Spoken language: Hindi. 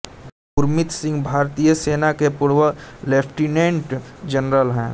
गुरमीत सिंह भारतीय सेना के पूर्व लेफ्टिनेंट जनरल हैं